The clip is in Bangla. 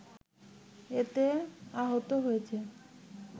এতে আহত হয়েছে